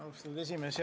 Austatud esimees!